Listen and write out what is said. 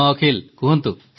ହଁ ଅଖିଲ କୁହନ୍ତୁ